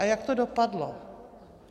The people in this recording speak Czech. A jak to dopadlo?